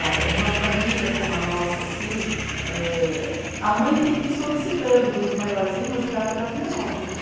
Olha, uma família como a nossa, assim, eh a mãe tem que ir solicitando dos maiorzinhos ajudar a cuidar dos menores, né?